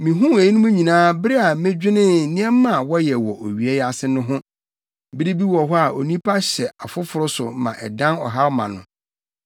Mihuu eyinom nyinaa bere a medwenee nneɛma a wɔyɛ wɔ owia yi ase no ho. Bere bi wɔ hɔ a onipa hyɛ afoforo so ma ɛdan ɔhaw ma no.